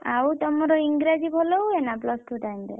ଆଉ ତମର ଇଂରାଜୀ ଭଲ ହୁଏ ନା plus two time ରେ?